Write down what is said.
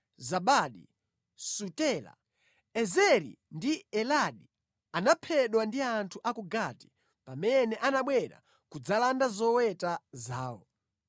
Zabadi, Sutela. Ezeri ndi Eladi anaphedwa ndi anthu a ku Gati, pamene anabwera kudzalanda zoweta zawo.